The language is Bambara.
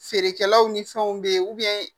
Feerekɛlaw ni fɛnw be yen